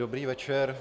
Dobrý večer.